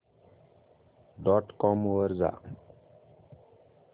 dot com वर जा